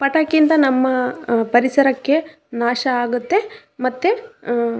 ಪಟಾಕಿಯಿಂದ ನಮ್ಮ ಪರಿಸರಕ್ಕೆ ನಾಶ ಆಗುತ್ತೆ ಮತ್ತೆ ಅಹ್--